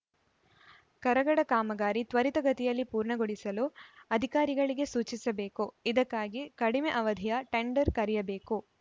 ಕರಗಡ ಕಾಮಗಾರಿ ತ್ವರಿತಗತಿಯಲ್ಲಿ ಪೂರ್ಣಗೊಳಿಸಲು ಅಧಿಕಾರಿಗಳಿಗೆ ಸೂಚಿಸಬೇಕು ಇದಕ್ಕಾಗಿ ಕಡಿಮೆ ಅವಧಿಯ ಟೆಂಡರ್‌ ಕರೆಯಬೇಕು